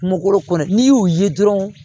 Kungolo kɔni n'i y'u ye dɔrɔn